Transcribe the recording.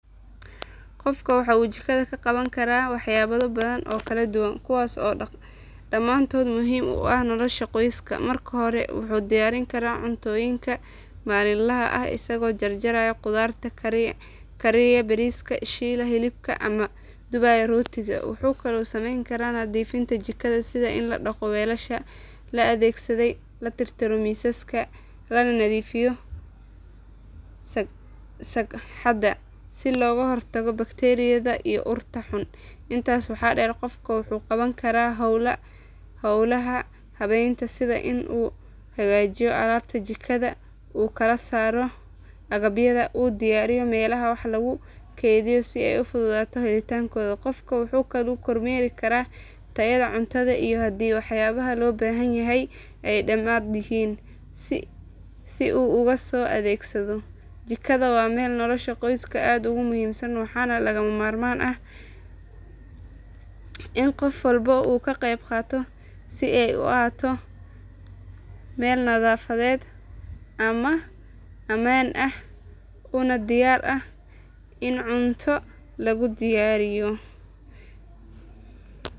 Qofku waxa uu jikada ka qaban karaa waxqabadyo badan oo kala duwan kuwaas oo dhammaantood muhiim u ah nolosha qoyska. Marka hore wuxuu diyaarin karaa cuntooyinka maalinlaha ah isagoo jarjaraya khudradda, kariyaya bariiska, shiilaya hilibka ama dubaya rootiga. Wuxuu kaloo samayn karaa nadiifinta jikada sida in la dhaqo weelasha la adeegsaday, la tirtiro miisaska, lana nadiifiyo sagxadda si looga hortago bakteeriyada iyo urta xun. Intaas waxaa dheer qofka wuxuu qaban karaa howlaha habaynta sida in uu hagaajiyo alaabta jikada, u kala saaro agabyada, una diyaariyo meelaha wax lagu kaydiyo si ay u fududaato helitaankooda. Qofka wuxuu kaloo kormeeri karaa tayada cuntada iyo haddii waxyaabaha loo baahan yahay ay dhammaanayaan si uu uga sii adeegsado. Jikada waa meel nolosha qoyska aad ugu muhiimsan waxaana lagama maarmaan ah in qof walba uu ka qayb qaato si ay u ahaato meel nadaafadeed, ammaan ah, una diyaar ah in cunto lagu diyaariyo.